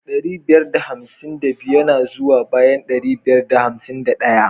Ɗari ɓiyar da hamsin da biyu yana zuwa bayan ɗari biyar da hamsin ɗaya.